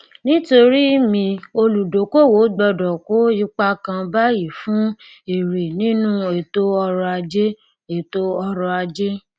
nítorí mi olùdókòwò gbọdọ kó ipa kan báyìí fún èrè nínú ètò ọrọ ajé ètò ọrọ ajé